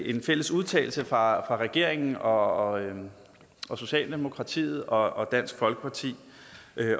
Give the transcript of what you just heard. en fælles udtalelse fra regeringen og socialdemokratiet og dansk folkeparti